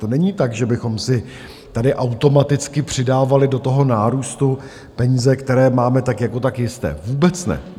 To není tak, že bychom si tady automaticky přidávali do toho nárůstu peníze, které máme tak jako tak jisté, vůbec ne.